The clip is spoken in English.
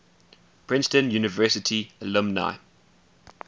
princeton university alumni